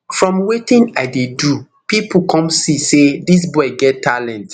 from wetin i dey do pipo come see say dis boy get talent